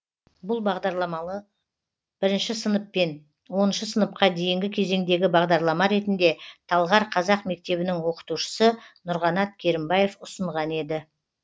бұл бағдарламаны бірінші сынып пен оныншы сыныпқа дейінгі кезеңдегі бағдарлама ретінде талғар қазақ мектебінің оқытушысы нұрғанат керімбаев ұсынған еді